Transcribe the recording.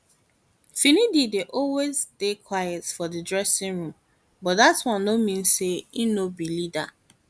finidi dey always dey quiet for di dressing room but dat one no mean say im no be leader